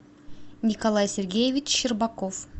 николай сергеевич щербаков